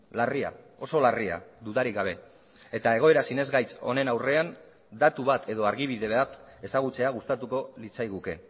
larria oso larria dudarik gabe eta egoera sinesgaitz honen aurrean datu bat edo argibide bat ezagutzea gustatuko litzaiguke